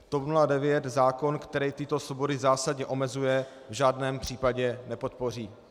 TOP 09 zákon, který tyto svobody zásadně omezuje, v žádném případě nepodpoří.